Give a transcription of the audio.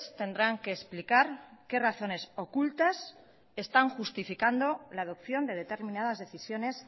tendrán que explicar qué razones ocultas están justificando la adopción de determinadas decisiones